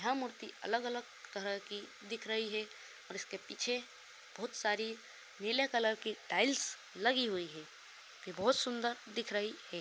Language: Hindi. यह मूर्ति अलग-अलग तरह की दिख रही है | इसके पीछे बहुत सारी नीले कलर की टाइल्स लगी हुई है| ये बहोत सुंदर दिख रही है।